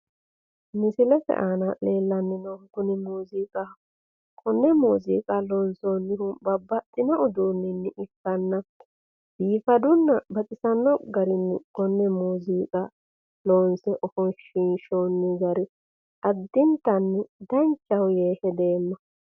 Misilete aana leellanni noohu Kuni muuziiqaho konne muuziiqa loonsoonnihu babbaxitino uduunnini ikkanna biifadunna baxisanno garunni konne muuziiqa loonse ifoshiinshoonni gari addintanni danchaho yee hedeemma.